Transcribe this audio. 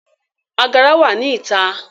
Agara wa ni ita